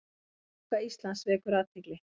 Framganga Íslands vekur athygli